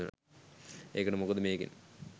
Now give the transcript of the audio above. ඒකට මොකද මේකෙන්